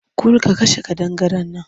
Kul! ka kashe ƙadangaren nan!